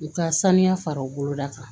U ka saniya fara u boloda kan